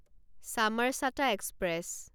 Chamarchata express